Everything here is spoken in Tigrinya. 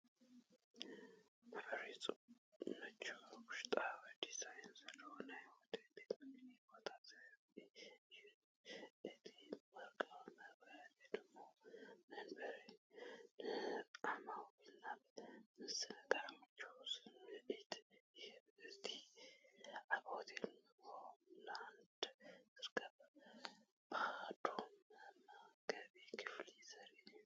ምዕሩግን ምቹውን ውሽጣዊ ዲዛይን ዘለዎ ናይ ሆቴል ቤት ምግቢ ቦታ ዘርኢ እዩ። እቲ ወርቃዊ መብራህትን ውቁብ መንበርን ንዓማዊል ናይ ምዝንጋዕን ምቾትን ስምዒት ይህቦም። ኣብ ሆቴል ሆምላንድ ዝርከብ ባዶ መመገቢ ክፍሊ ዘርኢ እዩ።